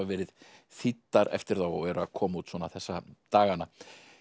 verið þýddar eftir þá og eru að koma út svona þessa dagana